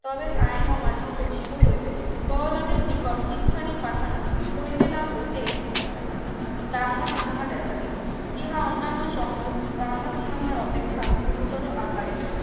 তবে আইন অমান্য ঘোষিত হইবে বড়লোকের নিকট চিঠিখানি পাঠানো হইতে না হইতে দাঙ্গা হাঙ্গামা দেখা দিলইহা অন্যান্য সকল দাঙ্গা-হাঙ্গামার অপেক্ষা গুরু আকারের